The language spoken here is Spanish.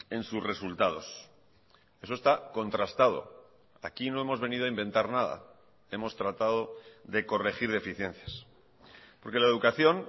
en sus resultados eso está contrastado aquí no hemos venido a inventar nada hemos tratado de corregir deficiencias porque la educación